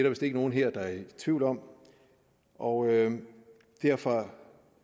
vist ikke nogen her der er i tvivl om og derfor